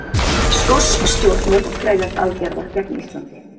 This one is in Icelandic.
Skosk stjórnvöld krefjast aðgerða gegn Íslandi